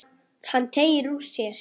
Hann teygir úr sér.